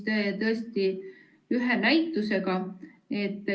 Tegu on tõesti ühe näitusega.